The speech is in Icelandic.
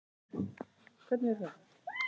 Stjáni brosti á móti.